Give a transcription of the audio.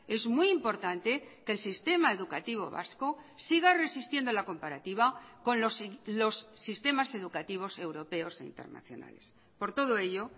es muy importante que el sistema educativo vasco siga resistiendo la comparativa con los sistemas educativos europeos e internacionales por todo ello